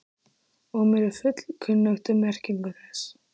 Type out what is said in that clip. og er mér fullkunnugt um merkingu þess.